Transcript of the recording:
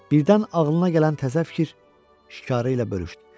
Birdən ağlına gələn təzə fikir şikarı ilə bölüşdü.